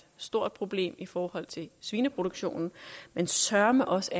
stort problem ikke i forhold til svineproduktionen men søreme også